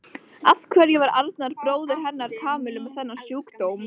Af hverju var Arnar bróðir hennar Kamillu með þennan sjúkdóm?